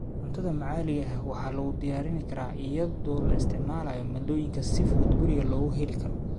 Cuntada maxaliga ah waxaa lagu diyaarin karaa iyadoo la isticmaalayo maaddooyinka si fudud guriga looga heli karo.